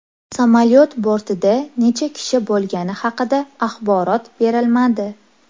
Samolyot bortida necha kishi bo‘lgani haqida axborot berilmadi.